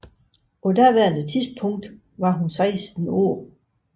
På daværende tidspunkt var hun 16 år